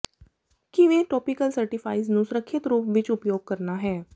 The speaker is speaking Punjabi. ਕਿਵੇਂ ਟੌਪੀਕਲ ਸਟੀਰਾਇਡਜ਼ ਨੂੰ ਸੁਰੱਖਿਅਤ ਰੂਪ ਵਿੱਚ ਉਪਯੋਗ ਕਰਨਾ ਹੈ